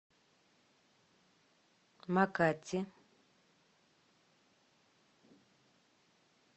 макати